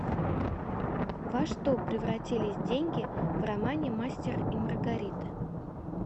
во что превратились деньги в романе мастер и маргарита